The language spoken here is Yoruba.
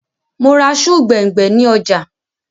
Mò ra sùù gbẹ̀ngbẹ̀ ni ọjà